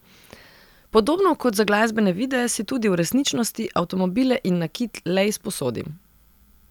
Podobno kot za glasbene videe si tudi v resničnosti avtomobile in nakit le izposodim.